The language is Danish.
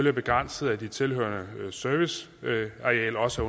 er begrænset af at det tilhørende serviceareal også